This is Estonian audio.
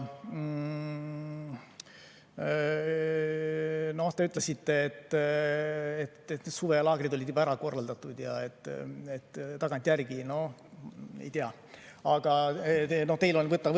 Te ütlesite, et suvelaagrid on juba ära korraldatud ja tagantjärgi – no ei tea.